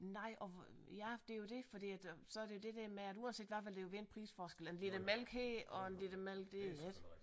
Nej og hvor ja det er jo det fordi at så det er der med at uanset hvad vil der jo være en prisforskel en liter mælk her og en liter mælk der ik